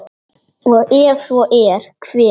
og ef svo er, hver?